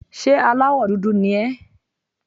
Ṣé aláwọ̀ dúdú ni ẹ́?